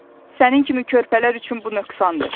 Sənin kimi körpələr üçün bu nöqsandır.